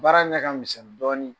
Baara ɲɛ ka misɛn dɔɔnin.